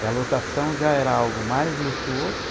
E a lotação já era algo mais luxuoso.